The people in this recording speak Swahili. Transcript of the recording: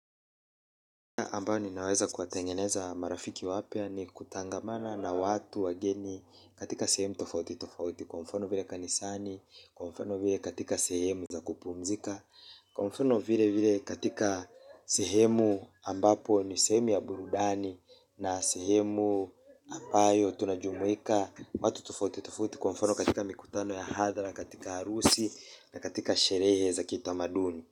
Ambao ninaweza kuwatengeneza marafiki wapya ni kutangamana na watu wageni katika sehemu tofauti tofauti. Kwa mfano vile kanisani, kwa mfano vile katika sehemu za kupumzika kwa mfano vile vile katika sehemu ambapo ni sehemu ya burudani na sehemu ambayo tunajumuika watu tofauti tofauti kwa mfano katika mikutano ya hadhara na katika harusi na katika sherehe za kitamaduni.